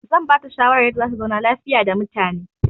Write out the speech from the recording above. I will advise her on how to leave peacefully with people.